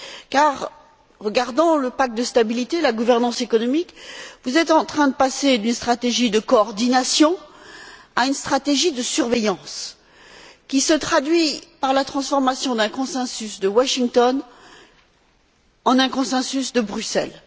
Car si l'on regarde le pacte de stabilité, la gouvernance économique, vous êtes en train de passer d'une stratégie de coordination à une stratégie de surveillance, qui se traduit par la transformation d'un consensus de Washington en un consensus de Bruxelles.